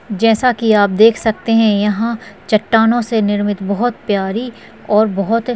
जैसा की आप देख सकते है यह चट्टानों से निर्मित बहोत प्यारी और बहोत--